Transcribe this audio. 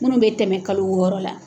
Minnu bɛ tɛmɛ kalo wɔɔrɔ la